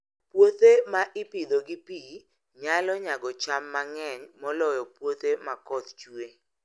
Puothe ma ipidho gi pi, nyalo nyago cham mang'eny moloyo puothe ma koth chue.